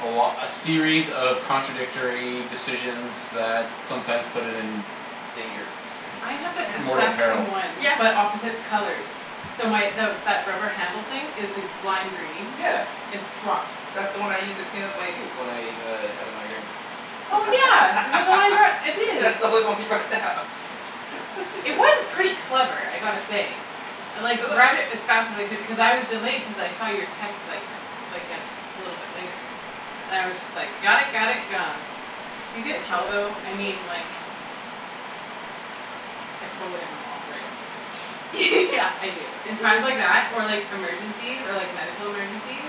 a lo- a series of contradictory decisions that sometimes put it in Danger. I have So that yeah. mortal exact peril. same one Yeah. but opposite colors. So my the that rubber handle thing is the lime green, Yeah. it That's the one I used to clean up my puke when I uh had a migraine. Oh yeah, is that the one I brought, it is. That's the only one you brought down. It was pretty clever, I gotta say. I like grabbed it as fast as I could cuz I was delayed cuz I saw your text like like a little bit later and I was just like got it, got it, gone. You can Thanks for tell that, I though, I appreciate it. mean like, I totally have a mom brain. Yeah. I do. In times like that, or like emergencies, or like medical emergencies,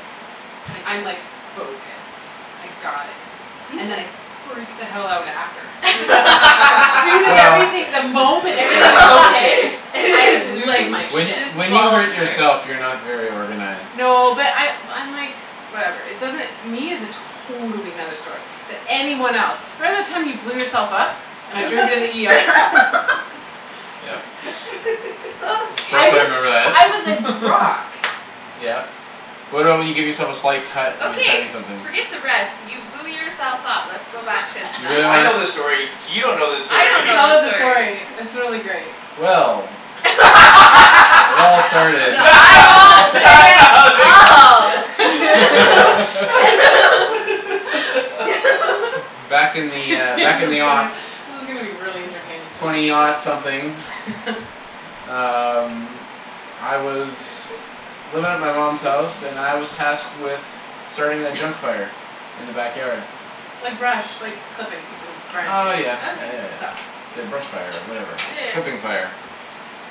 I'm like focused, I got it. And then I freak the hell out after. As soon as Well everything, the If moment if everything is everything is okay, okay. I lose like my When shit. just when you follow hurt yourself you're not very organized. No but I I'm like, whatever, it doesn't, me is a totally another story, but anyone else. Remember the time you blew yourself up, and I Yeah drove you to the ER? Yep. Of I course I was Okay. remember that. I was like rock. Yeah. What about when you give yourself a slight cut when you're cutting Okay, something? forget the rest. You blew yourself up. Let's go back to You that. really Yeah, I wanna know this story, you don't know this I story. don't Tell know this us the story. story, it's really great. Well It all started The eyeballs say it all. Back in the, uh, This back in is the gonna this is gonna be really entertaining Twenty something. people. Um I was living at my mom's house and I was tasked with starting a junk fire in the backyard. Like brush, like clippings and branches Oh and yeah, yeah Okay. yeah and yeah. stuff. The brush fire or whatever, Yeah yeah. clipping fire.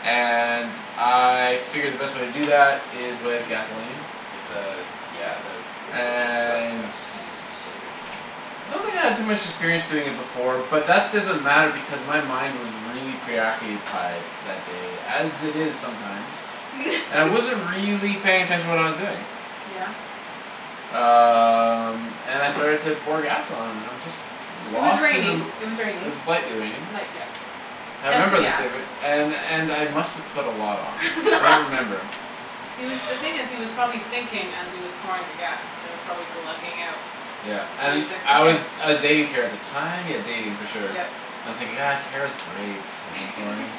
And I figured the best way to do It that smells is with amazing. gasoline. With the, Yeah. yeah the with the chicken stuff? And Yeah, Mm. so good. I don't think I had too much experience doing it before but that doesn't matter because my mind was really preoccupied that day, as it is sometimes. And I wasn't really paying attention to what I was doing. Yeah. Um and I started to pour gas on and I'm just It was lost in the raining, it was It was raining. lightly raining. Light yep. I Hence the remember this gas. day and and I must've put a lot on, I don't remember. He was the thing is he was probably thinking as he was pouring the gas and it was probably glugging out Yeah and and he's like, I "okay." was I was dating Kara at the time, yeah dating for sure. Yep. And I'm thinking, ah Kara's great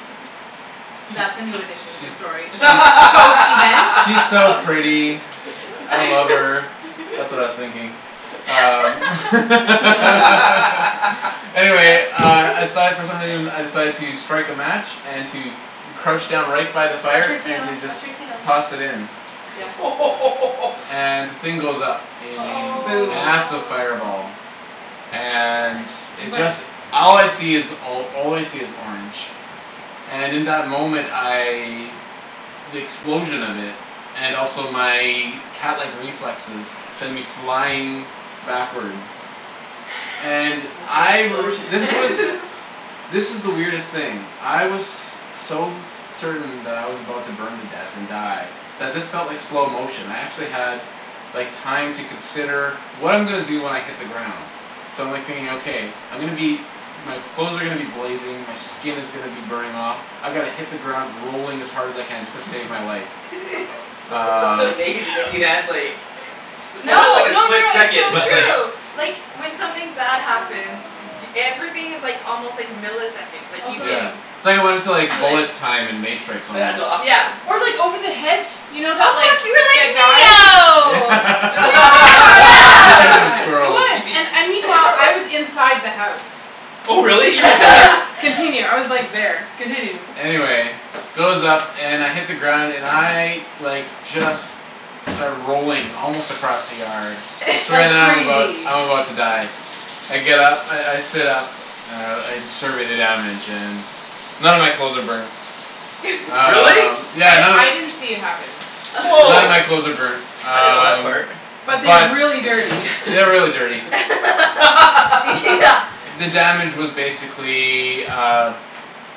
That's a new addition She's to she's this story. she's post event? She's so Post event. pretty. I love her, that's what I was thinking. Um Anyway uh I decided for some reason I decided to strike a match and to crouch down right by the Watch fire your and tail, to just watch your tail. toss it in. Yeah. And the thing goes up in a Aw. Boom. massive Oh fireball. my And gosh. You it went just, all I flying. see is all I see is orange. And in that moment I, the explosion of it, and also my catlike reflexes send me flying backwards. And the I r- this explosion was, this is the weirdest thing. I was so certain that I was about to burn to death and die that this felt like slow motion. I actually had like time to consider what I'm gonna do when I hit the ground. So I'm like thinking okay, I'm gonna be, my clothes are gonna be blazing, my skin is gonna be burning off, I gotta hit the ground rolling as hard as I can just to save my life. That's Um amazing that you had like, it probably was No, like no a no split no it's second, so but true. Like like when something bad happens y- everything is like almost like milliseconds, like you Also Yeah. can It's like I wanted to like feel it. bullet time in matrix That's almost. Yeah. awesome. Or like over the hedge, you know that like, Oh that guy. fuck, you Yeah. were like Neo! Speaking of Yes. Yes! It squirrels. was and and meanwhile, I was inside the house. Oh really, you were Continue. there? Continue. I was like there. Continue. Anyway it goes up and I hit the ground and I like just start rolling, almost across the yard. Like I'm about crazy. I'm about to die. I get up, I I sit up and I survey the damage and none of my clothes are burned. Really? Um yeah I none of I didn't see it happen. None of Wow, my clothes are burned. I didn't know that Um part. But but they're they're really dirty. really dirty. Yeah. The damage was basically, uh,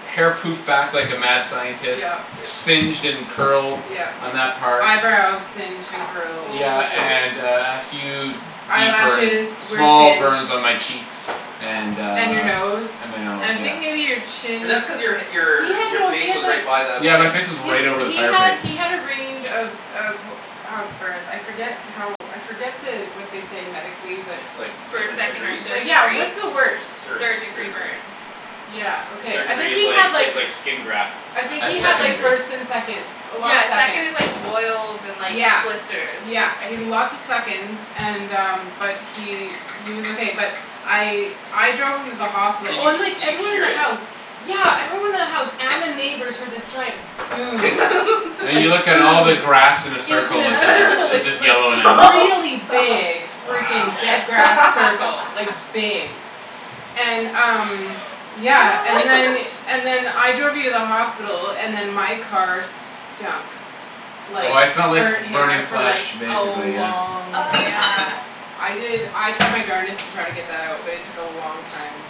hair poofed back like a mad scientist, Yep. Yep. singed and curled Yep. on that part. Eyebrows singed and curled. Yeah and uh and a few deep burns, Eyelashes were small singed. burns on my cheeks. And uh And your nose. And my nose And I yeah. think maybe your Is chin. that because your He your had your no he face had was like, right by the Yeah my flame? face was he's right over the he fire had pit. he had a range of of of burns, I forget how, I forget the what they say medically but Like First, different second or degrees? third yeah, degree? what's the worst? Third. Third Third degree degree. burn. Yeah okay, Third I degree think is he had like, is like skin graft I I think had he Yeah. had second like degree. first and seconds, a lot of Yeah second is seconds. like boils and like Yeah, blisters. yeah I he had think. lots of seconds and um but he he was okay but I I drove him to the hospital, Did oh you and like did you everyone in hear the house, it? yeah everyone in the house and the neighbors heard this giant boom. And Like you look at all boom! the And grass in a it was in circle, it's a just circle, it's like just like yellow now. Oh really fuck. big Wow. freaking dead grass circle, like big. And um yeah, and then and then I drove you to the hospital, and then my car stunk Oh like I smelled like burnt burning hair for flash like a basically yeah. long Oh yeah. time. I did I tried my darnedest to try to get that out but it took a long time.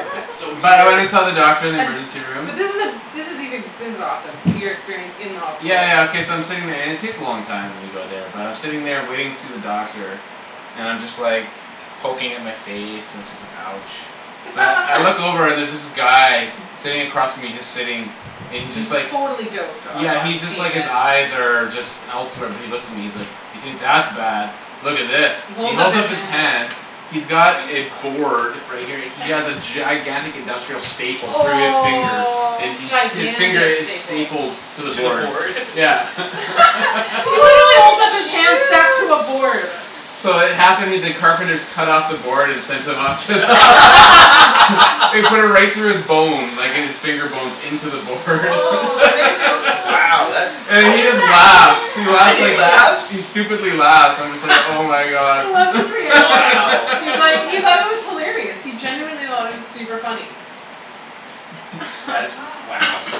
So were you But I went and saw the doctor in the And, emergency room. but this is the this is even, this is awesome, your experience in the hospital. Yeah yeah okay so I'm sitting there and it takes a long time when you go there but I'm sitting there waiting to see the doctor and I'm just like, poking at my face and so it's like ouch. But I look over and there's this guy, sitting across from me, and he's just sitting, and he's just He's like totally doped up Yeah on he's just like, pain his meds. eyes are just elsewhere but he looks at me and he's like, "You think that's bad, look at this." He He holds up holds his up his hand. hand, he's got a Susie. board, right here, he has a gigantic industrial staple through his finger Oh. and his finger Gigantic is staple. stapled to the To the board. board? Yeah. He literally holds up his Holy hand stacked to a shoot. board. So it the carpenters cut off the board and sent him to the hos- They put it right through his bone, like his finger bones, in to the board How Wow that's, And he does just laughs. He that and laughs he like, even happen? he laughs? stupidly laughs, and I'm just like oh my god. I loved his reaction. Wow. He's like, he God. thought it was hilarious. He genuinely it was super funny. That is wow. Gosh.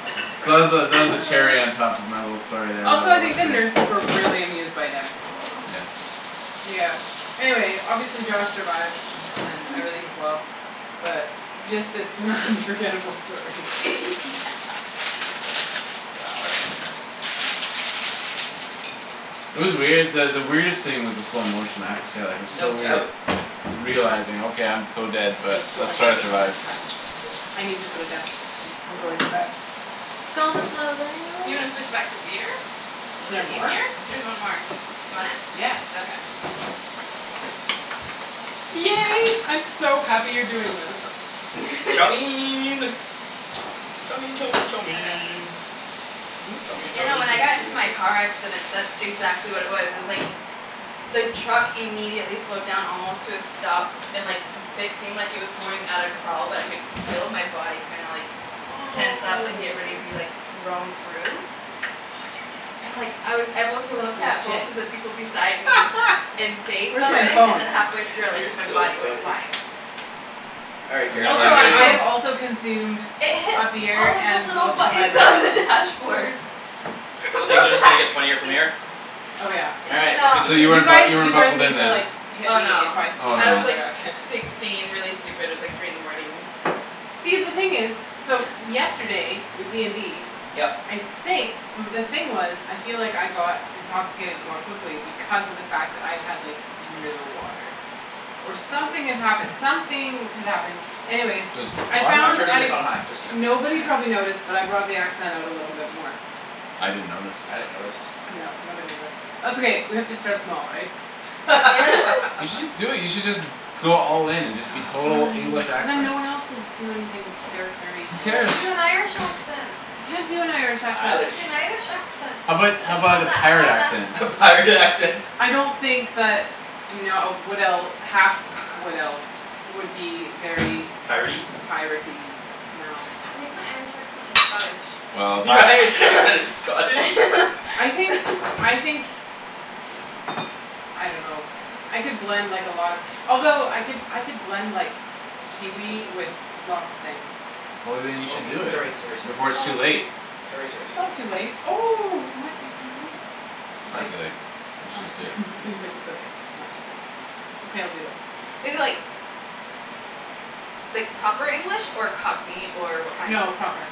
That's So that was the, impressive. that was the cherry on top of my little story there Also I think the nurses were really amused by him. Yeah. Yeah. Anyway, obviously Josh survived and everything's well. But just it's an unforgettable story. Yeah. Wow, that's interesting. It was weird that the weirdest thing was the slow motion, I have to say like it was No so weird doubt. realizing okay, I'm so dead This but is let's going try to way too survive. fast. I need to put it down. I'm going too fast. It's gonna slow down. You wanna switch back to beer? Is Is there it more? easier? There's one more. You want it? Yeah. Okay. Yay, I'm so happy you're doing this. Chow! Chow chow chow mein. Chow mein You chow know mein when chow I got in to mein chow my car accident mein that's exactly what it was. It was like, the truck immediately slowed down almost to a stop and like it seemed like it was going at a crawl but I could feel my body kinda like Oh. tense up and get ready to be like, thrown through. Oh you're using And like I was able to look at that's legit. both of the people beside me and say Where's my something and phone? then halfway through I like, You're my so body went funny. flying. All right Do you Kara, know Also where I'm did it I go? have gonna also consumed It hit a beer all of the and little most of my buttons on bourbon. the dashboard. So From the things are just gonna get funnier from backseat. here? Oh yeah. All right, sounds good So to you You weren't me. bu- guys, you weren't you guys buckled in need to then. like hit Oh me no. if I speak Oh in I no. was like another accent. sixteen really stupid, it was like three in the morning. See the thing is, so yesterday with D and D, Yep. I think the thing was, I feel like I got intoxicated more quickly because of the fact that I had like no water. Or something had happened, something had happened. Anyways, I I'm found turning I this on high, just so you know. nobody probably Okay. noticed but I brought the accent out a little bit more. I didn't notice. I didn't notice. No, nobody noticed. That's okay, we have to start small right? You should just do it, you should just go all in and just be Aw total fine, English but then accent. no one else will do anything charactery. Who Aw, cares? do an Irish accent. I can't do an Irish accent. Do Irish. an Irish accent. How about how It's about not a that pirate hard accent? lass. A pirate accent! I don't think that no a wood elf, a half wood elf would be very Piratey? piratey, no. I think my Irish accent is Scottish. Well, Your that Irish accent is Scottish? I think, I think, I don't know I could blend like a lot of, although I could I could blend like Kiwi with lots of things. Well then you should do Okay, it sorry sorry before it's Oh. too sorry. late. Sorry sorry It's sorry. not too late. Oh, it might be too late. It's not Okay. too late. You should All just do it. right he's like it's okay, it's not too late. Okay I'll do it. Is it like like proper English or Cockney or what kind? No, proper.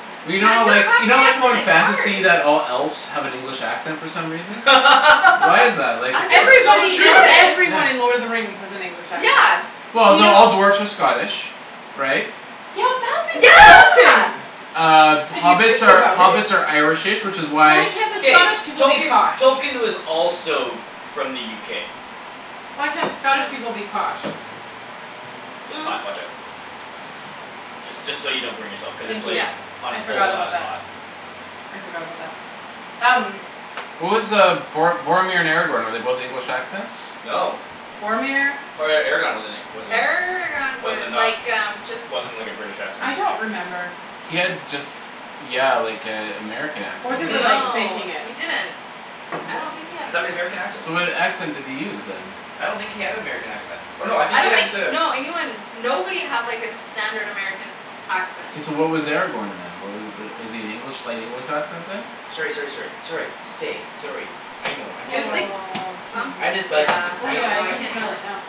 Yeah. Well you know how Can't do a like, you know Cockney like how accent, in it's fantasy hard! that all elves have an English accent for some reason? Why is that, like is it It's so Everybody in true! Yeah. Yeah. everyone in Lord of the Rings has an English accent. Yeah. Well You no, know all dwarves are Scottish. Right? Yeah that's insulting! Yeah! Uh If you hobbits think are about it. hobbits are irish-ish which is why Why can't the K. Scottish people be Tolkien, posh? Tolkien was also f- from the UK. Why can't the Scottish people be posh? It's hot, watch out. Just just so you don't burn yourself because it's Thank like you. Yeah. on I full forgot about blast that. hot. I forgot about that. Um. What was uh Bor- Boromir and Aragorn, were they both English accents? No. Boromir? Or Aragorn wasn't he wasn't Aragorn was was it like um just not, wasn't like a British accent. I don't remember. He had just yeah like a American Or accent they were basically. like Mhm. No faking it. he didn't. I don't think he had an American American accent. So what accent did he use then? I don't think he had an American accent, I th- oh no I think I he don't had think, to no anyone nobody had like a standard American accent. So what was Aragorn then wha- was is he an English, slight English accent then? Sorry sorry sorry. Sorry, stay, sorry. I know, I'm It just was like bugging you. Aw someth- I'm Susie. just bugging yeah, you, Oh I I don't know yeah know. I I I can can't smell really it know. now.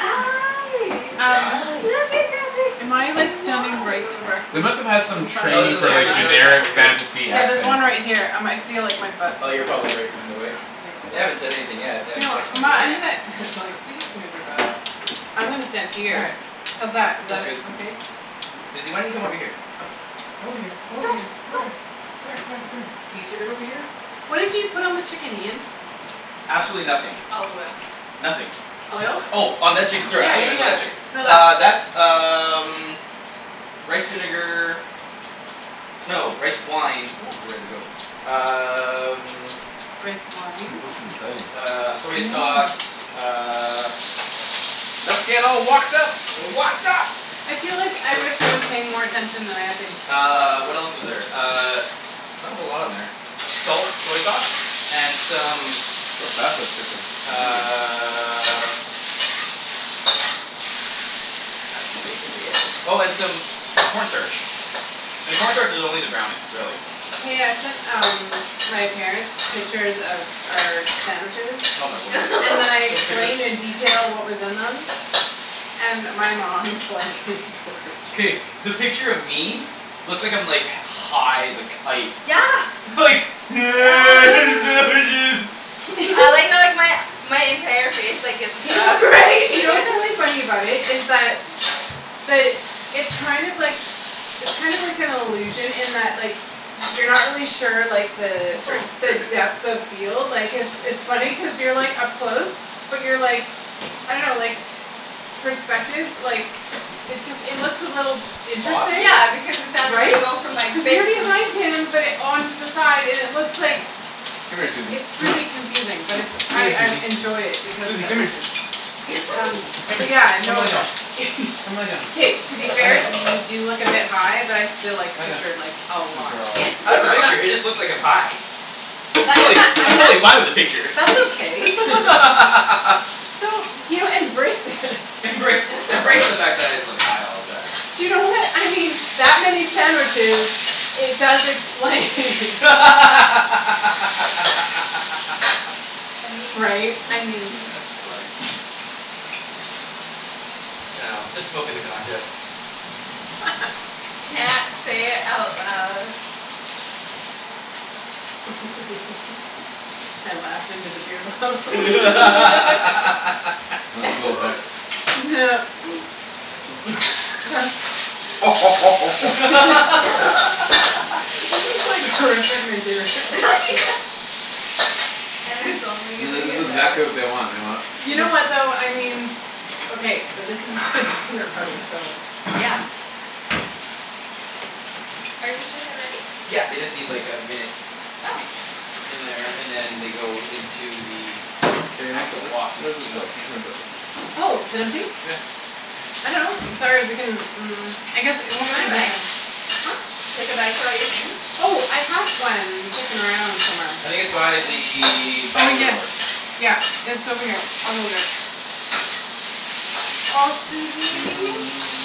Um, look Hi. at am that I like big standing right smile. They directly must've had some in front of No it's training this in the, for like there's camera? another generic camera here. fantasy Yeah there's accent. one right here I might feel like my butt's Oh in you're front of probably it. right in the way? Yeah. They haven't said anything yet, they Do you haven't know what, texted um me my I'm gonna, yet. they're like, please move your butt. I'm gonna stand All here. right. How's that, is that That's good. uh okay? Susie why don't you come over here? Come here, come Go! over here, come Go! here, come here, come here, come here. Can you sit right over here? What did you put on the chicken Ian? Absolutely nothing. Olive oil. Nothing. Olive Oil? oil. Oh on that chicken sorry I Yeah thought you yeah meant yeah. about that chick- No Uh that that's um rice vinegar. No, rice wine, ooh we're ready to go. Um. Rice wine? Uh I soy know. sauce, uh. Let's get all wokd up! Wokd up! I feel like I wish I was paying more attention than I have been. Uh, what else is there, uh, not a whole lot on there. Salt, soy sauce, and some how fast it's cooking uh Oh and some corn starch. And corn starch is only to brown it, really. Hey I sent um my parents pictures of our sandwiches, Oh my word. and then I Those explained in pictures. detail what was in them. And my mom was like K, the picture of me, looks like I'm like high as a kite. Yeah. Like, sandwiches. I like how like my my entire face like gets You cut know off what's funny, right. you know what's really funny about it is that, the it's kind of like, it's kind of like an illusion in that like you're not really sure like the Oops sorry the depth of field like cuz it's it's funny cuz you're like up close. But you're like, I don't know like, perspective like, it just it looks a little Off. interesting, Yeah because the sound of right? it Cuz you're behind him but on to the side and it looks like, Come here Susie, it's come here really confusing but it's Come I here I Susie. enjoy it because of Susie that come here. reason. Um, Come here. but yeah, Come lie no, down. Come lie down. k to be Lie fair down. you do look a bit high but I still like the Lie down. picture like a Good lot. girl. It just looks like I'm high. I'm and totally I'm totally fine with the that's, picture. that's okay. So, you know embrace it Embrace, embrace the fact that I just look high all the time. You know what, I mean that many sandwiches, it does explain Right, I mean. it's funny. Yeah. Say it out loud. I laughed in to the beer bottle go ahead. This is like horrific material. Yeah. And it's only This gonna is this get is better. exactly what they want, they want You know what though, I mean, okay but this is a dinner party so. Yeah. Are you sure they're ready? Yeah they just need like a minute. Oh. In there, and then they go into the Kara you wanna put actual this, wok and where's this steam go, out. Oh, is it empty? Yeah. I dunno. Mm, I guess it Do you won't. wanna bag? Huh? Like a bag for all your things? Oh, I have one kicking around somewhere. I think it's by the Oh, patio yes. door. Yeah, it's over here. I'll go get it. Aw Suzy,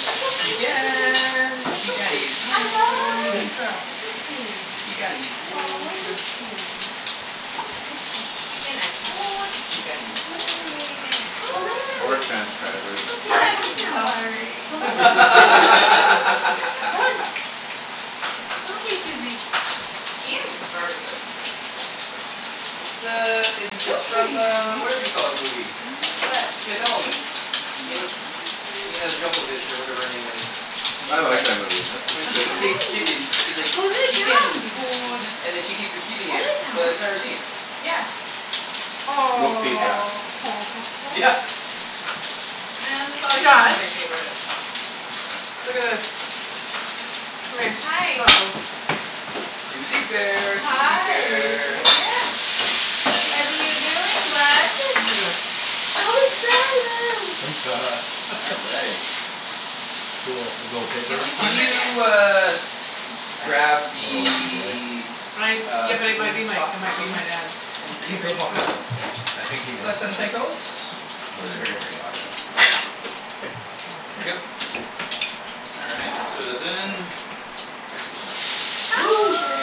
it's okay, it's okay. Chicken! It's Chicken okay, is shh, it's okay good girl, it's okay. Chicken is Aw, it's good. okay. It's okay, shh. Mm, chicken is good. Chicken is It's good. okay. Chicken is Go lie good. down. Poor transcribers. It's okay. Go lie I'm down. sorry! Go lie down. Go on. It's okay, Suzy. Ian started it. It's the, it's, It's it's from okay. uh, whatever you call it movie. What? Fifth Element. Mila, Mina Johovich or whatever her name is. When she I like finds, that movie. when That's she movie. tastes chicken she's like, Go lie "Chicken down is babe. good" and then she keeps repeating Go it lie for down. the entire scene. Yeah. Multipass. Aw. Yeah! Man, this always been one Josh? of my favorites. Look at this. Come here. Hi. uh-oh. Suzy bear, Suzy Hi! bear. What are you doing, bud? Look at this. So excited. All right. Cool. The little paper Can thing? you uh, grab What a lucky boy. the I, yeah, uh, but it might chicken be my, stock it might for be me my dad's oh from the paper fridge bots. please? Yeah. I think he made it Please and though. thank yous. It's But at the maybe very we'll very see. bottom. Thank you. Awesome All right, let's throw this in. Actually no. Ooh, sorry!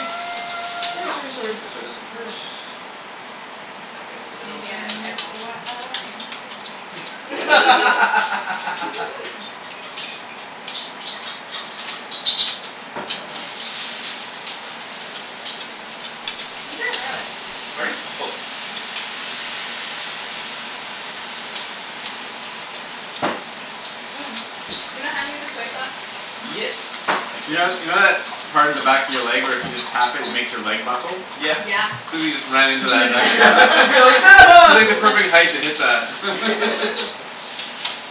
Ooh sorry sorry, let's throw this in first. Let that go Maybe I, I away F won't y i scream. Ginger or garlic? Pardon me? Both. Mm, you don't have any of the soy sauce? Yes, I You keep know, in you know there. that part of the back of your leg where if you just tap it, it makes your leg buckle? Yeah. Yeah. Suzy just ran You're into like that back to hit that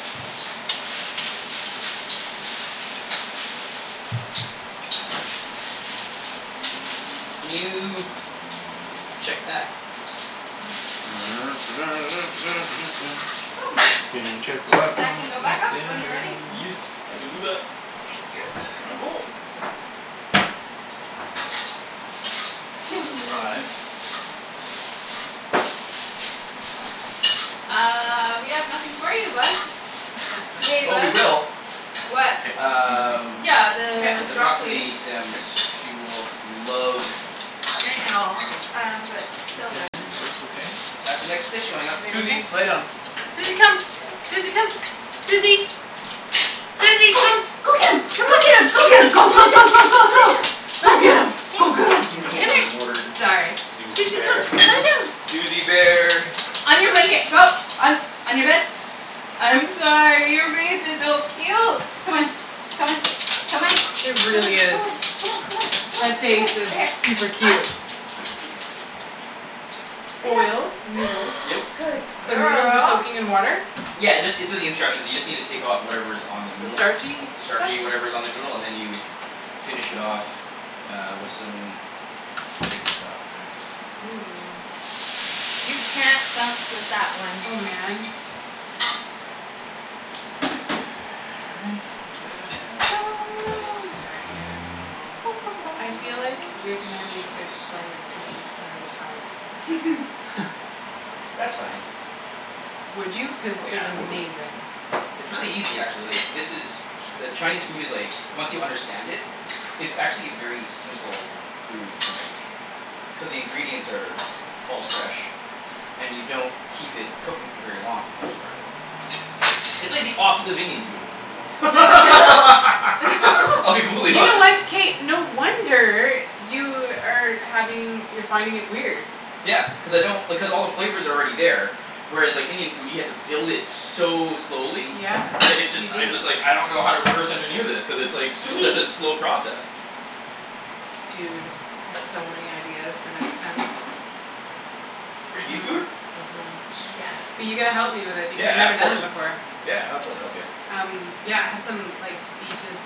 Can you check that? Can you check the That can go back up when you're ready. Yes, I can do that. Thank you. Now that's five. Suzy! Uh, we have nothing for you, bud. Accept You this wanna eat a just Oh in we bug? case will. What? Can't, I'm busy. Um Yeah, Okay. the The broccoli broccoli stems, she will love I know. Um, but till Okay, then that looks okay? That's the next dish going up. Everything okay? Suzy lay down. Suzy come. Suzy come. Suzy! Suzy Go! come. Go get 'em! Come on. Go get 'em! Go get 'em, Come, go come go lie go down. go go Come lie go! down. Go Lie get down. 'em, Hey, go get here. 'em! Oh Come here. my word. Sorry. Suzy Suzy come. bear. Lie down. Suzy bear! On your blanket, go. On, on your bed. I'm sorry, your face is so cute! Come on, come on, come on. It Come on, come on, really come is. on, come on, come on, come on. Right That here, face is right here. super I'm cute. Lay Oil, down. noodles. Yep. Good So noodles were girl! soaking in water? Yeah, it just, it's in the instruction. You just need to take of whatever is on the The noodle. starchy The stuff? starchy whatever is on the noodle, and then you finish it off uh, with some chicken stock. Ooh. You can't bounce with that one. Oh man. All right, ta ta ta ta, and then I'll put the green onions in there right now. I feel like you're Some gonna need to soy explain this to me sauce. another time. That's fine. Would you? Cuz Oh this is yeah, totally. amazing. It's really easy actually. This is, ch- the Chinese food is like, once you understand it, it's actually a very simple food to make. Cuz the ingredients are all fresh and you don't keep it cooking for very long for the most part. It's like the opposite of Indian food. I'll be You brutally know honest. what? K no wonder you are having, you're finding it weird. Yeah. Cuz I don't, because all the flavor's already there. Whereas like Indian food, you have to build it so slowly Yeah, that it you just, I do. just like, I don't know how to reverse engineer this cuz it's such a slow process. Dude, I've so many ideas for next time. For Indian Mhm, food? mhm. Sweet. Yes. But you gotta help me with it because I've Yeah, never of done it course. before. Yeah I'll totally help you. Um yeah, I have some like, the just